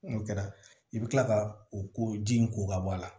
N'o kɛra i bɛ tila ka o ko ji in ko ka bɔ a la